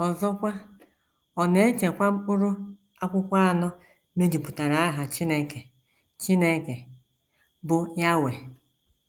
Ọzọkwa, ọ na - echekwa... mkpụrụ akwụkwọ anọ mejupụtara aha Chineke Chineke, bụ́ YHWH. ”